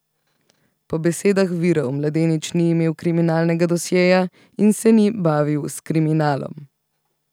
Po besedah virov, mladenič ni imel kriminalnega dosjeja in se ni bavil s kriminalom.